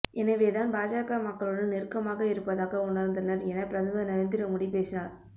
எனவே தான் பாஜக மக்களுடன் நெருக்கமாக இருப்பதாக உணர்ந்தனர் என பிரதமர் நரேந்திர மோடி பேசினார்